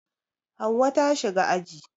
Hauwa ta shiga aji